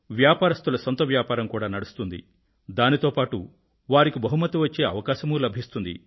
వ్యాపారస్తుల సొంత వ్యాపారం కూడా నడుస్తుంది దానితో పాటూ వారికి బహుమతి వచ్చే అవకాశమూ లభిస్తుంది